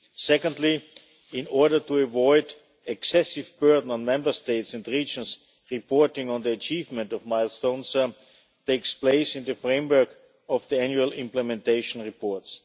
Secondly, in order to avoid excessive burden on Member States and regions, reporting on the achievement of milestones takes place in the framework of the annual implementation reports.